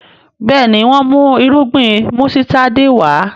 Béèni wón mú Irúgbìn músítádì Wá.